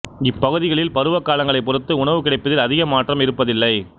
இப் பகுதிகளில் பருவகாலங்களைப் பொறுத்து உணவு கிடைப்பதில் அதிக மாற்றம் இருப்பதில்லை